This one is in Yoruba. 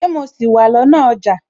Ṣé mo sì wà lọ́nà ọjà?